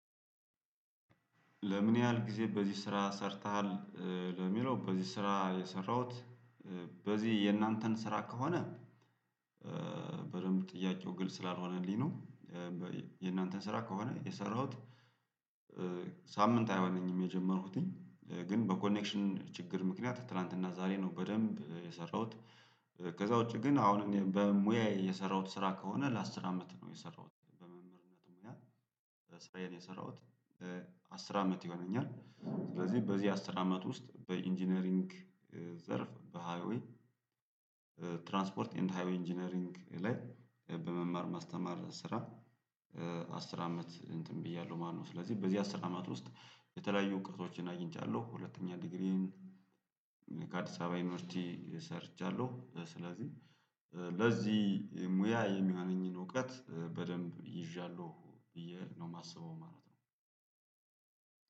ለምን ያህል ጊዜ በዚህ ስራ ሰርተሃል? ኧ ለሚለው በዚህ ስራ የሰራሁት በዚህ የእናንተን ስራ ከሆነ ኧ በደንብ ጥያቄው ግልጽ ስላልሆነልኝ ነው። የእናንተን ስራ ከሆነ የሰራሁት። ኧ ሳምንት አይሆነኝም የጀመርኩትኝ ግን በኮኔክሽን ችግር ምክንያት ትላንትና ዛሬ ነው በደንብ የሰራሁት። ከዛ ውጪ ግን አሁን በሙያየ የሰራሁት ስራ ከሆነ ለአስር አመት ነው የሰራሁት በመምህርነት ሙያ። ስራዬን የሰራሁት አስር አመት ይሆነኛል። ስለዚህ በዚህ አስር አመት ውስጥ በኢንጂነሪንግ ዘርፍ በሃይዌይ ትራንስፖርት ኤንድ ሃይዌይ ኢንጂነሪንግ ላይ በመማር ማስተማር ስራ ኧ አስር አመት እንትን ብያለሁ። ማነው ስለዚህ በዚህ አስር አመት ውስጥ የተለያዩ እውቀቶችን አግኝቻለሁ። ሁለተኛ ዲግሪን ከአዲስ አበባ ዩኒቨርሲቲ ሰርቻለሁ። ስለዚህ ለዚህ ሙያ የሚሆነኝን እውቀት በደንብ ይዣለሁ ብዬ ነው እማስበው ማለት ነው።